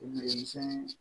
Denmisɛn